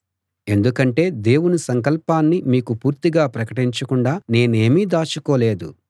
ఎందుకంటే దేవుని సంకల్పాన్ని మీకు పూర్తిగా ప్రకటించకుండా నేనేమీ దాచుకోలేదు